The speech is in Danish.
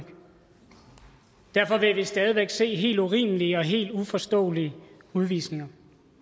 derfor vil vi stadig væk se helt urimelige og helt uforståelige udvisninger